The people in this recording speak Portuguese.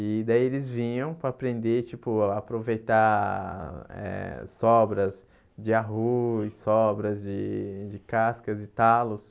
E daí eles vinham para aprender, tipo, a aproveitar eh sobras de arroz, sobras de de cascas e talos.